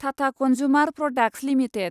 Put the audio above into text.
Tata consumer products limited